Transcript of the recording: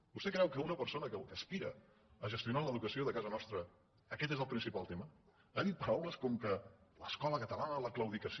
vostè creu que per a una persona que aspira a gestionar l’edu·cació de casa nostra aquest és el principal tema ha dit paraules com l’escola catalana la claudicació